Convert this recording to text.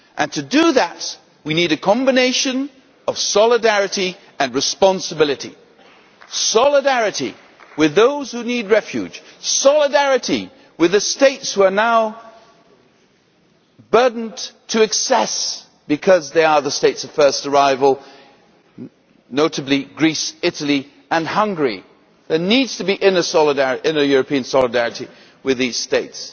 To do that, we need a combination of solidarity and responsibility solidarity with those who need refuge, solidarity with the States who are now burdened to excess because they are the States of first arrival, notably Greece, Italy and Hungary. There needs to be European solidarity with these States